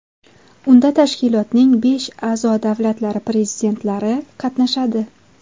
Unda tashkilotning besh a’zo-davlatlari prezidentlari qatnashadi.